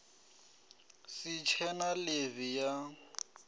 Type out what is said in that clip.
si tshe na ḽivi ya